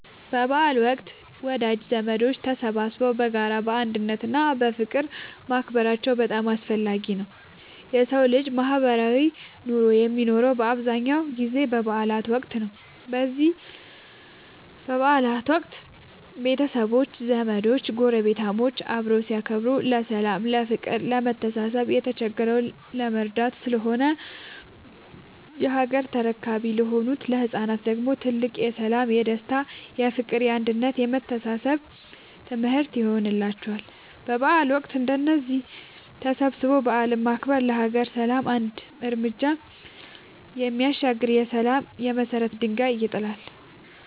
በበዓል ወቅት ወዳጅ ዘመዶች ተሰባስበው በጋራ፣ በአንድነት እና በፍቅር ማክበራቸው በጣም አስፈላጊ ነው የሠው ልጅ ማህበራዊ ኑሮ የሚኖረው በአብዛኛው ጊዜ በበዓል ወቅት ነው። በዚህ በበዓል ወቅት ቤተሰቦች፣ ዘመዶች ጐረቤታሞች አብረው ሲያከብሩ ለሠላም፤ ለፍቅር፣ ለመተሳሰብ፣ የተቸገረን ለመርዳት ስለሆነ የሀገር ተረካቢ ለሆኑት ለህፃናት ደግሞ ትልቅ የሠላም፣ የደስታ፣ የፍቅር፣ የአንድነት የመተሳሰብ ትምህርት ይሆንላቸዋል። በበዓል ወቅት እንደዚህ ተሰባስቦ በዓልን ማክበር ለሀገር ሰላም አንድ ርምጃ የሚያሻግር የሠላም የመሰረት ድንጋይ ይጥላል።